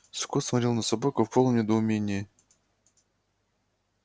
скотт смотрел на собаку в полном недоумении